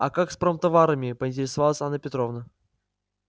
а как с промтоварами поинтересовалась анна петровна